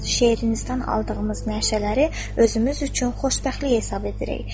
Şeirinizdən aldığımız nəşələri özümüz üçün xoşbəxtlik hesab edirik.